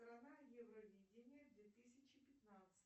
евровидение две тысячи пятнадцать